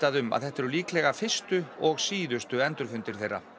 um að þetta eru líklega fyrstu og síðustu endurfundir þeirra